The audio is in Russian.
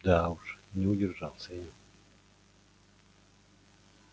да уж не удержался я